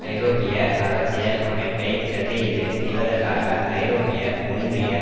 ஐரோப்பிய அரசியல் அமைப்பை பிரதியிடு செய்வதற்காக ஐரோப்பிய ஒன்றிய